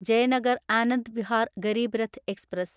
Jayanagar Anand Vihar Garib Rath express